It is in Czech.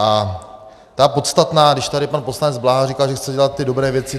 A ta podstatná, když tady pan poslanec Bláha říkal, že chce dělat ty dobré věci.